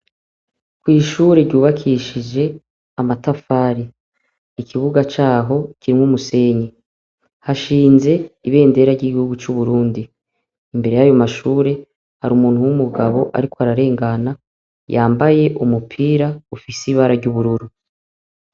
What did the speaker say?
Kw’ishure ryubakishije amatafari, ikibuga caho kirimwo umusenyi, hashinze ibendera ry'iguhugu c'Uburundi, imbere yayo mashure hari umuntu w'umugabo ariko ararengana yambaye umupira ufise ibara ry'ubururu.